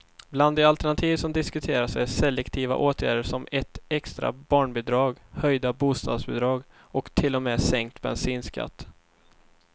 Bland de alternativ som diskuteras är selektiva åtgärder som ett extra barnbidrag, höjda bostadsbidrag och till och med sänkt bensinskatt.